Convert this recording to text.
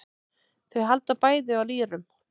Þau halda bæði á lýrum.